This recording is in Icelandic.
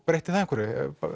breytti það einhverju